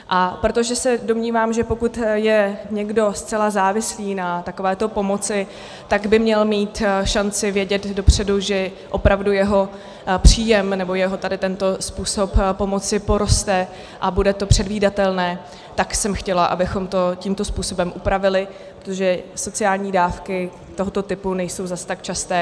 A protože se domnívám, že pokud je někdo zcela závislý na takovéto pomoci, tak by měl mít šanci vědět dopředu, že opravdu jeho příjem nebo jeho tady tento způsob pomoci poroste a bude to předvídatelné, tak jsem chtěla, abychom to tímto způsobem upravili, protože sociální dávky tohoto typu nejsou zase tak časté.